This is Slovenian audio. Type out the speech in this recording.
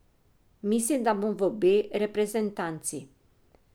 Mislim, da bom v B reprezentanci.